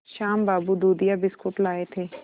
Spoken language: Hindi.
श्याम बाबू दूधिया बिस्कुट लाए थे